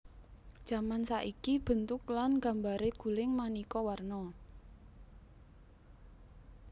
Jaman saiki bentuk lan gambaré guling manéka warna